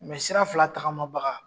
sira fila tagamabaga.